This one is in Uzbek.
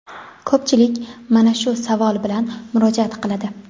Ko‘pchilik mana shu savol bilan murojaat qiladi.